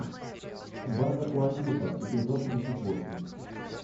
база куантико эпизод тридцать восемь